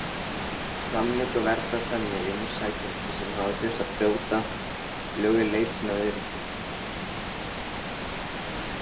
Samningurinn verndar þannig umsækjendur sem hafa þurft að brjóta lög í leit sinni að öryggi.